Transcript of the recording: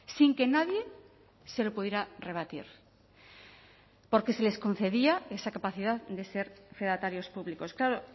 sin que nadie se lo pudiera rebatir porque se les concedía esa capacidad de ser fedatarios públicos claro